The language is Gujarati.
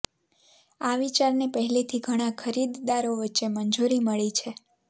આ વિચારને પહેલેથી ઘણા ખરીદદારો વચ્ચે મંજૂરી મળી છે